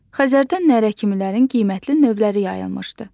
Xəzərdə nərəkimilərin qiymətli növləri yayılmışdı.